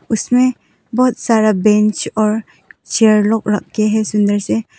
उसमें बहुत सारा बेंच और चेयर लोग रख के है सुंदर से।